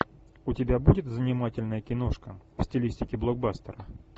у тебя будет занимательная киношка в стилистике блокбастер